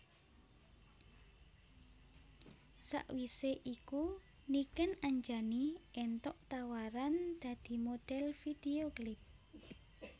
Sawisé iku Niken Anjani éntuk tawaran dadi modhel video klip